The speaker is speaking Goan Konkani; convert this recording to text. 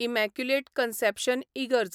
इमॅक्युलेट कन्सॅप्शन इगर्ज